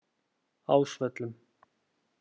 Ásvöllum